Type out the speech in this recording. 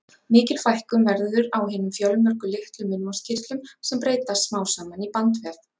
Mikil fækkun verður á hinum fjölmörgu litlu munnvatnskirtlum, sem breytast smám saman í bandvef.